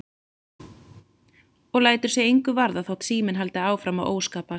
Og lætur sig engu varða þótt síminn haldi áfram að óskapast.